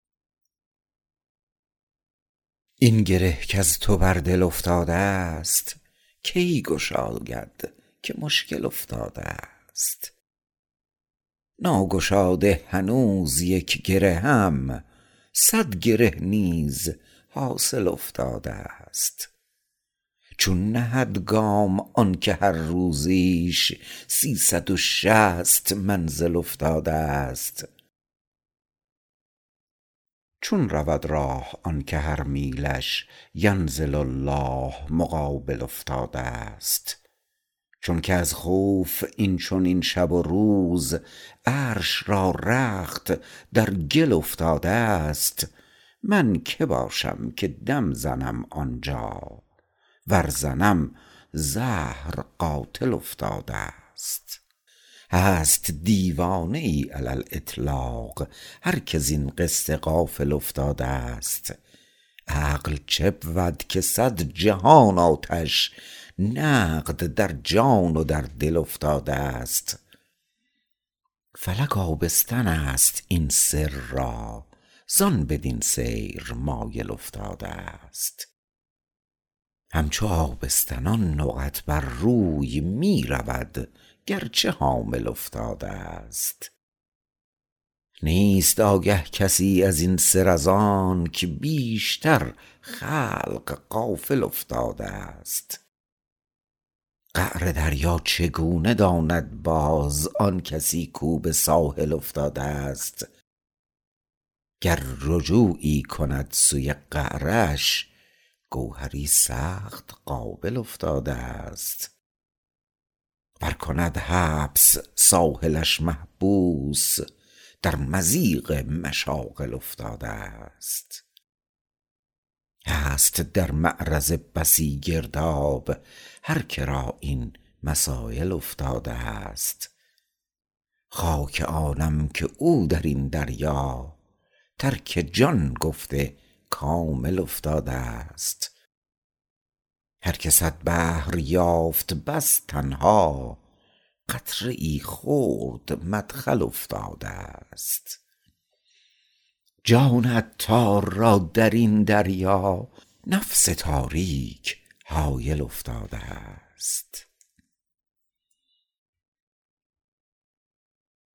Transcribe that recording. این گره کز تو بر دل افتادست کی گشاید که مشکل افتادست ناگشاده هنوز یک گرهم صد گره نیز حاصل افتادست چون نهد گام آنکه هر روزیش سیصد و شصت منزل افتادست چون رود راه آنکه هر میلش ینزل الله مقابل افتادست چونکه از خوف این چنین شب و روز عرش را رخت در گل افتادست من که باشم که دم زنم آنجا ور زنم زهر قاتل افتادست هست دیوانه ای علی الاطلاق هر که زین قصه غافل افتادست عقل چبود که صد جهان آتش نقد در جان و در دل افتادست فلک آبستن است این سر را زان بدین سیر مایل افتادست همچو آبستنان نقط بر روی می رود گرچه حامل افتادست نیست آگاه کس ازین سر زانک بیشتر خلق غافل افتادست قعر دریا چگونه داند باز آن کسی کو به ساحل افتادست گر رجوعی کند سوی قعرش گوهری سخت قابل افتادست ور کند حبس ساحلش محبوس در مضیق مشاغل افتادست هست در معرض بسی گرداب هر که را این مسایل افتادست خاک آنم که او درین دریا ترک جان گفته کامل افتادست هر که صد بحر یافت بس تنها قطره ای خرد مدخل افتادست جان عطار را درین دریا نفس تاریک حایل افتادست